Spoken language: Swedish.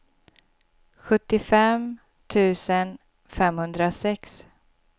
sjuttiofem tusen femhundrasex